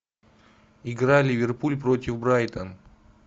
игра ливерпуль против брайтон